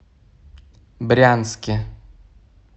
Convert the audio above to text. брянске